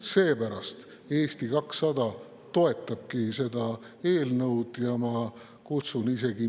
Seepärast Eesti 200 toetabki seda eelnõu ja ma kutsun isegi …